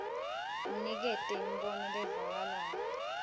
unikete imibono levakalako